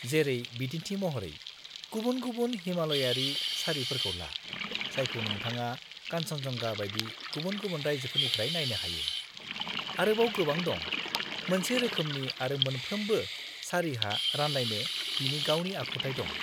-जेरै बिदिन्थि महरै गुबुन-गुबुन हिमालयारि सारिफोरखौ ला जायखौ नोंथाङा कानचेनजंगा बायदि गुबुन-गुबुन रायजोफोरनिफ्राय नायनो हायो, आरोबाव गोबां दं, मोनसे रोखोमनि आरो मोनफ्रोमबो सारिहा रानलायनो बिनि गावनि आखुथाय दं।